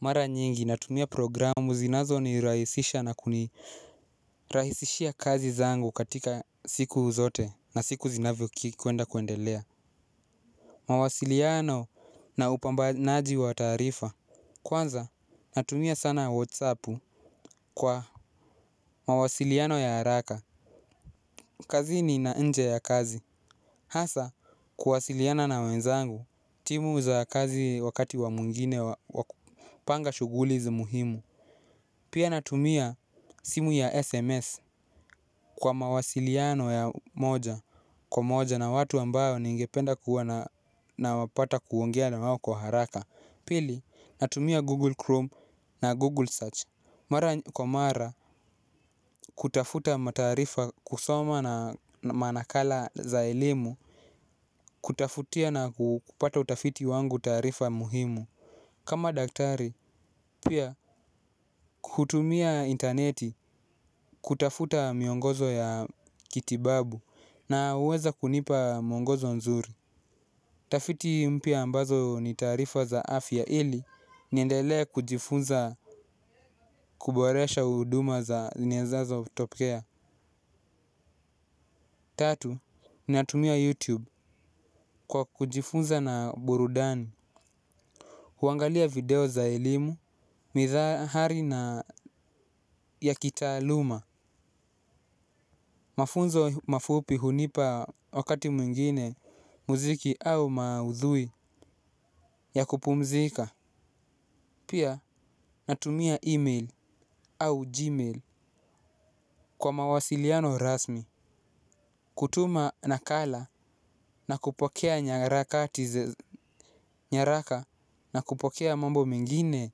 Mara nyingi natumia programu zinazonirahisisha na kunirahisishia kazi zangu katika siku zote na siku zinavyokuenda kuendelea. Mawasiliano na upambanaji wa taarifa. Kwanza natumia sana whatsappu kwa mawasiliano ya haraka. Kazini na nje ya kazi hasa kuwasiliana na wenzangu timu za kazi wakati wa mwingine wa kupanga shughuli zi muhimu. Pia natumia simu ya SMS kwa mawasiliano ya moja kwa moja na watu ambayo ningependa kuwa na wapata kuongea na wawo kwa haraka. Pili natumia Google Chrome na Google Search. Mara kwa mara kutafuta mataarifa kusoma na manakala za elimu. Kutafutia na kupata utafiti wangu tarifa muhimu. Kama daktari, pia kutumia interneti kutafuta miongozo ya kitibabu na huweza kunipa mwongozo nzuri. Tafiti mpya ambazo ni taarifa za afya ili niendelee kujifunza kuboresha huduma za nyezazo kutokea. Tatu, niatumia YouTube kwa kujifunza na burudani kuangalia video za elimu, mithahari na ya kitaaluma. Mafunzo mafupi hunipa wakati mwingine muziki au maudhui ya kupumzika. Pia natumia email au gmail kwa mawasiliano rasmi. Kutuma nakala na kupokea nyaraka na kupokea mambo mengine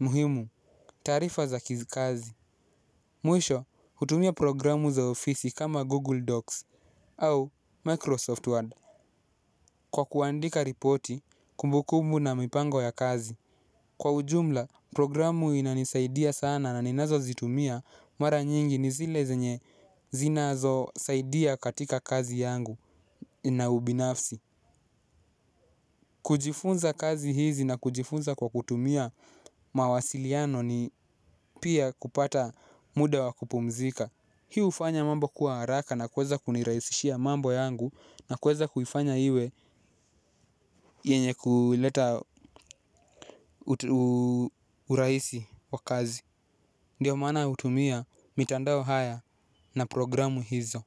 muhimu taarifa za kizikazi. Mwisho hutumia programu za ofisi kama Google Docs au Microsoft Word. Kwa kuandika ripoti, kumbukumbu na mipango ya kazi. Kwa ujumla, programu inanisaidia sana na ninazozitumia mara nyingi ni zile zenye zinazosaidia katika kazi yangu ina ubinafsi. Kujifunza kazi hizi na kujifunza kwa kutumia mawasiliano ni pia kupata muda wa kupumzika. Hii hufanya mambo kuwa haraka na kuweza kuniraisishia mambo yangu na kuweza kuifanya iwe yenye kuleta urahisi wa kazi. Ndiyo maana hutumia, mitandao haya na programu hizo.